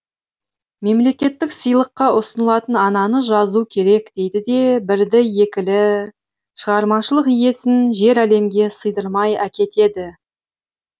мемлекеттік сыйлыққа ұсынылыпты ананы жазу керек дейді де бірді екілі шығармашылық иесін жер әлемге сыйдырмай әкетеді